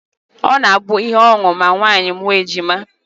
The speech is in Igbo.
Ọ na-abụ ihe ọṅụ ma nwaanyị mụọ ejima